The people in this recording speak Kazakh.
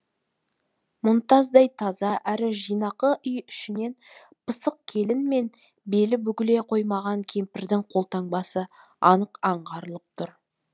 мұнтаздай таза әрі жинақы үй ішінен пысық келін мен белі бүгіле қоймаған кемпірдің қолтаңбасы анық аңғарылып тұр